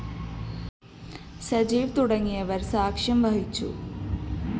സജീവ് തുടങ്ങിയവര്‍ സാക്ഷ്യം വഹിച്ചു